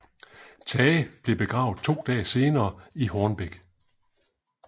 Tage blev begravet to dage senere i Hornbæk